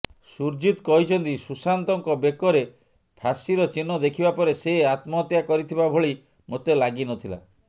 ସୁରଜିତ କହିଛନ୍ତି ସୁଶାନ୍ତଙ୍କ ବେକରେ ଫାଶିର ଚିହ୍ନ ଦେଖିବା ପରେ ସେ ଆତ୍ମହତ୍ୟା କରିଥିବା ଭଳି ମୋତେ ଲାଗିନଥିଲା